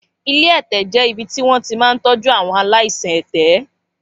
Ilé ẹ̀tẹ̀ jẹ́ ibi tí wọn ti máa ń tọ́jú àwọn aláìsàn ẹ̀tẹ̀.